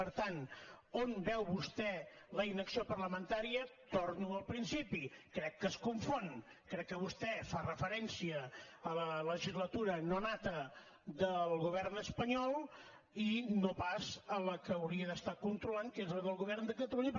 per tant on veu vostè la inacció parlamentària torno al principi crec que es confon crec que vostè fa referència a la legislatura no nata del govern espanyol i no pas a la que hauria de controlar que és la del govern de catalunya